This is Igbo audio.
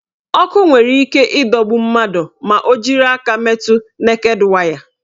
Ọkụ nwere ike ịdọrọ mmadụ ma ọ jiri aka nkịtị metu neked waya.